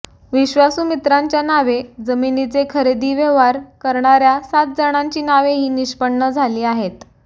विश्वासू मित्रांच्या नावे जमिनीचे खरेदीचे व्यवहार करणार्या सात जणांची नावेही निष्पन्न झाली आहेत